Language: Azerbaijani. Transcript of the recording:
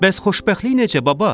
Bəs xoşbəxtlik necə, baba?